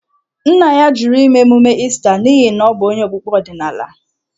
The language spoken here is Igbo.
Nna ya jụrụ ime emume Ista n’ihi na ọ bụ onye okpukpe ọdịnala.